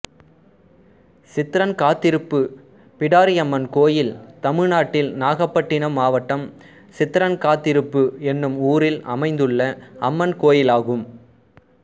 சித்ரன்காத்திருப்பு பிடாரியம்மன் கோயில் தமிழ்நாட்டில் நாகபட்டினம் மாவட்டம் சித்ரன்காத்திருப்பு என்னும் ஊரில் அமைந்துள்ள அம்மன் கோயிலாகும்